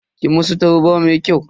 Ki musu tarba mai kyau.